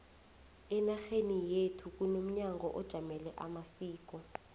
enarheni yekhu kunomnyango ojamele amasiko